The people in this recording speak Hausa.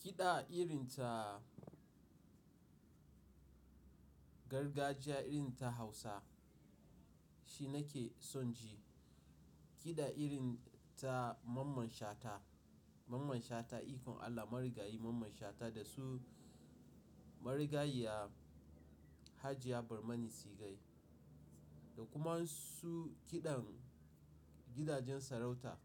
Kiɗa irin ta gargajiya, irin ta Hausa shi nake son ji. Kiɗa irin ta Mamman Shata, Mamman Shata ikon Allah marigayi Mamman Shata da su marigayiya Hajia Barmani Sigai da kuma su kiɗan gidajen sarauta